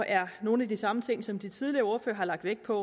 er nogle af de samme ting som de tidligere ordførere har lagt vægt på